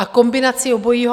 A kombinace obojího.